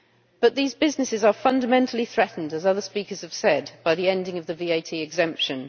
But these businesses are fundamentally threatened, as other speakers have said, by the ending of the VAT exemption.